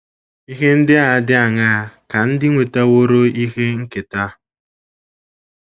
Ihe ndị dị aṅaa ka ndị nwetaworo ihe nketa?